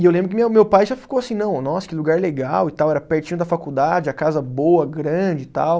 E eu lembro que minha, meu pai já ficou assim, não, nossa, que lugar legal e tal, era pertinho da faculdade, a casa boa, grande e tal.